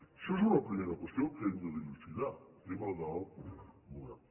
això és una primera qüestió que hem de dilucidar el tema del model